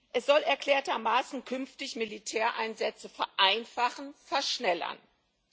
Es soll erklärtermaßen künftig Militäreinsätze vereinfachen, beschleunigen.